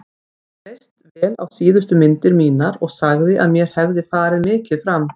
Honum leist vel á síðustu myndir mínar og sagði að mér hefði farið mikið fram.